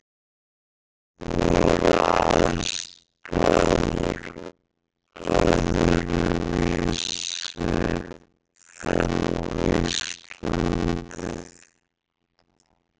Voru aðstæður öðruvísi en á Íslandi?